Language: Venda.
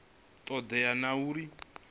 todea na uri i do